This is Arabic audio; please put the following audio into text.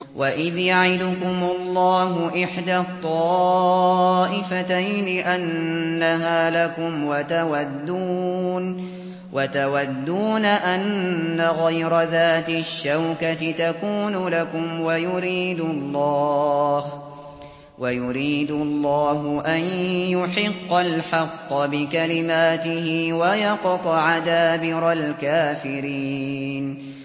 وَإِذْ يَعِدُكُمُ اللَّهُ إِحْدَى الطَّائِفَتَيْنِ أَنَّهَا لَكُمْ وَتَوَدُّونَ أَنَّ غَيْرَ ذَاتِ الشَّوْكَةِ تَكُونُ لَكُمْ وَيُرِيدُ اللَّهُ أَن يُحِقَّ الْحَقَّ بِكَلِمَاتِهِ وَيَقْطَعَ دَابِرَ الْكَافِرِينَ